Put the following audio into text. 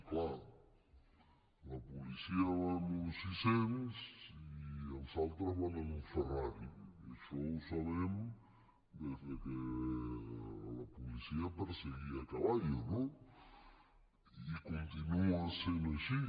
és clar la policia va amb un sis cents i els altres van amb un ferrari i això ho sabem des que la policia perseguia a caballo no i continua sent així